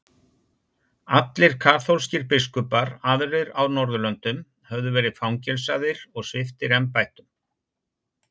Allir kaþólskir biskupar aðrir á norðurlöndum höfðu verið fangelsaðir og sviptir embættum.